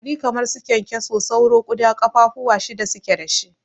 Ƙwari kamar su kyankyaso, sauro, ƙuda kafa fuwa shida suke dashi.